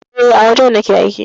E, a wajen nake aiki.